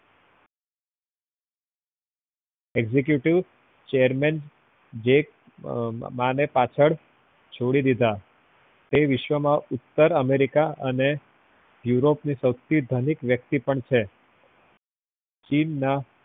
executive chairman ને પાછળ છોડી દીધા એ વિશ્વ માં ઉત્તર america અને europe ના સવથી ધનિક વ્યક્તિ પણ છે ચીનના